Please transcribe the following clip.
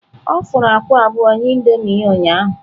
Ọ fụrụ akwa abụọ nye Indomie ya ụnyahụ.